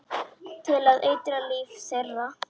Til að eitra líf þeirra.